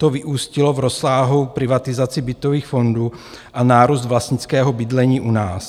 To vyústilo v rozsáhlou privatizaci bytových fondů a nárůst vlastnického bydlení u nás.